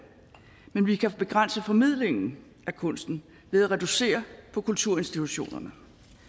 men vi kan begrænse formidlingen af kunsten ved at reducere på kulturinstitutionerne